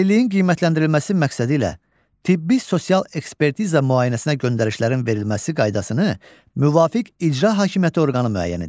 Əlilliyin qiymətləndirilməsi məqsədilə tibbi-sosial ekspertiza müayinəsinə göndərişlərin verilməsi qaydasını müvafiq icra hakimiyyəti orqanı müəyyən edir.